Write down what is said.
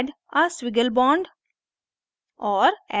add a squiggle bond